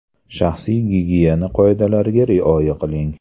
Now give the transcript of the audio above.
Shaxsiy gigiyena qoidalariga rioya qiling.